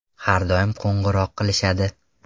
Har doim qo‘ng‘iroq qilishadi.